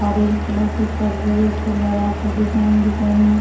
orange colour के पर्दो जैसे लगा के डिज़ाइन डिज़ाइन में --